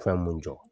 Fɛn mun jɔ